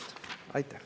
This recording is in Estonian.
Aitäh!